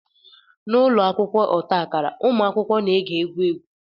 N'ụlọ akwụkwọ ọta akara, ụmụaka na-ege egwu egwu